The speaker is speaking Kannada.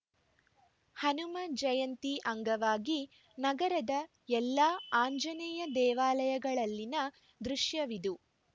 ಹನುಮ ಜಯಂತಿ ಅಂಗವಾಗಿ ನಗರದ ಎಲ್ಲಾ ಆಂಜನೇಯ ದೇವಾಲಯಗಳಲ್ಲಿನ ದೃಶ್ಯವಿದು